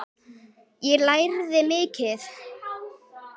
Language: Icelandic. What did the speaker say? Ég lærði mikið.